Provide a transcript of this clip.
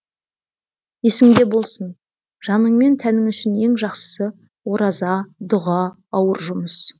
есіңде болсын жаның мен тәнің үшін ең жақсысы ораза дұға ауыр жұмыс